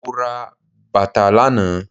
Mo ra bàtà lànáà